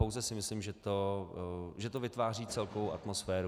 Pouze si myslím, že to vytváří celkovou atmosféru.